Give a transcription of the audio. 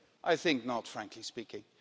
I think not, frankly speaking.